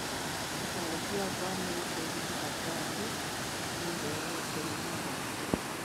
Thabarĩ cia bamĩrĩ gũthiĩ ithaka-inĩ nĩ ũndũ wa gwĩkenia wa hamwe.